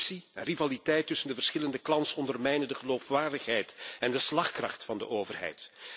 Corruptie en rivaliteit tussen de verschillende clans ondermijnen de geloofwaardigheid en de slagkracht van de overheid.